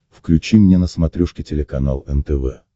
включи мне на смотрешке телеканал нтв